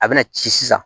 A bɛna ci sisan